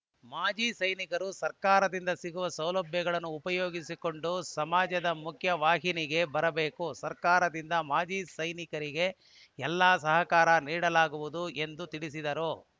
ಮಾಜಿ ಸೈನಿಕರು ಸರ್ಕಾರದಿಂದ ಸಿಗುವ ಸೌಲಭ್ಯಗಳನ್ನು ಉಪಯೋಗಿಸಿಕೊಂಡು ಸಮಾಜದ ಮುಖ್ಯ ವಾಹಿನಿಗೆ ಬರಬೇಕು ಸರ್ಕಾರದಿಂದ ಮಾಜಿ ಸೈನಿಕರಿಗೆ ಎಲ್ಲಾ ಸಹಕಾರ ನೀಡಲಾಗುವುದು ಎಂದು ತಿಳಿಸಿದರು